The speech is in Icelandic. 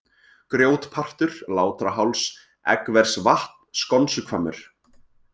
Grjótpartur, Látraháls, Eggversvatn, Skonsuhvammur